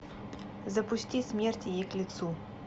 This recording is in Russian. запусти смерть ей к лицу